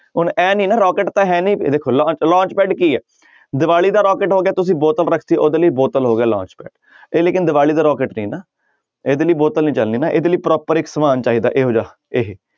ਹੁਣ ਇਹ ਨੀ ਨਾ ਰੋਕੇਟ ਤਾਂਂ ਹੈ ਨੀ ਵੇਖੋ ਲੋਂ~ launch pad ਕੀ ਹੈ ਦੀਵਾਲੀ ਦਾ ਰੋਕੇਟ ਹੋ ਗਿਆ ਤੁਸੀਂ ਬੋਤਲ ਰੱਖ ਦਿੱਤੀ ਉਹਦੇ ਲਈ ਬੋਤਲ ਹੋ ਗਿਆ launch pad ਇਹ ਲੇਕਿੰਨ ਦੀਵਾਲੀ ਦਾ ਰੋਕੇਟ ਨਹੀਂ ਨਾ, ਇਹਦੇ ਲਈ ਬੋਤਲ ਨੀ ਚੱਲਣੀ ਨਾ ਇਹਦੇ ਲਈ proper ਇੱਕ ਸਮਾਨ ਚਾਹੀਦਾ ਇਹੋ ਜਿਹਾ ਇਹ,